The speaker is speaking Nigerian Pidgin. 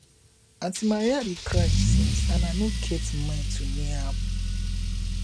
aunty maria dey cry since and i no get mind to near am